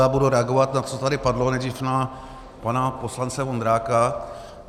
Já budu reagovat na to, co tady padlo, nejdřív na pana poslance Vondráka.